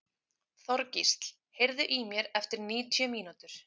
Þorgísl, heyrðu í mér eftir níutíu mínútur.